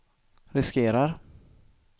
riskerar